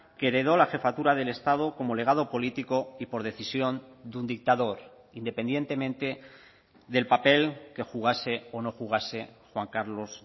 que heredó la jefatura del estado como legado político y por decisión de un dictador independientemente del papel que jugase o no jugase juan carlos